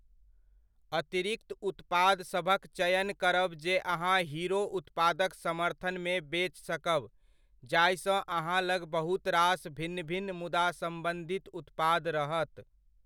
अतिरिक्त उत्पादसभक चयन करब जे अहाँ हीरो उत्पादक समर्थनमे बेच सकब जाहिसँ अहाँ लग बहुत रास भिन्न भिन्न मुदा सम्बन्धित उत्पाद रहत।